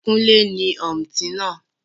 Kúnlé ní òmùtí náà.